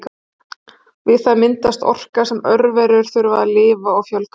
Við það myndast orka sem örverur þurfa til að lifa og fjölga sér.